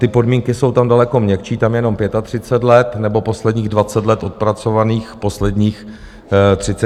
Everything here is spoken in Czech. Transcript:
Ty podmínky jsou tam daleko měkčí, tam jenom 35 let nebo posledních 20 let odpracovaných v posledních 30 letech.